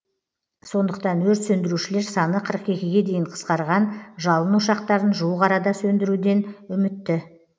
сондықтан өрт сөндірушілер саны қырық екіге дейін қысқарған жалын ошақтарын жуық арада сөндіруден үмітті